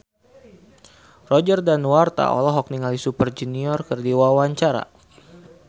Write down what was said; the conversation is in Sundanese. Roger Danuarta olohok ningali Super Junior keur diwawancara